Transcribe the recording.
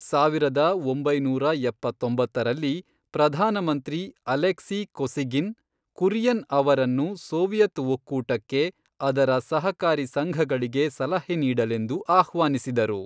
ಸಾವಿರದ ಒಂಬೈನೂರ ಎಪ್ಪತ್ತೊಂಬತ್ತರಲ್ಲಿ, ಪ್ರಧಾನಮಂತ್ರಿ ಅಲೆಕ್ಸಿ ಕೊಸಿಗಿನ್, ಕುರಿಯನ್ ಅವರನ್ನು ಸೋವಿಯತ್ ಒಕ್ಕೂಟಕ್ಕೆ ಅದರ ಸಹಕಾರಿ ಸಂಘಗಳಿಗೆ ಸಲಹೆ ನೀಡಲೆಂದು ಆಹ್ವಾನಿಸಿದರು.